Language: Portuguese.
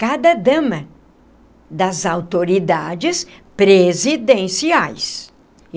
Cada dama das autoridades presidenciais.